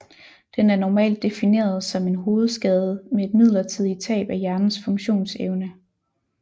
Den er normalt defineret som en hovedskade med et midlertidigt tab af hjernens funktionsevne